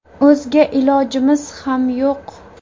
O‘zga ilojimiz ham yo‘q.